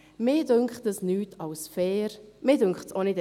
Das empfinde ich als nichts anderes als fair.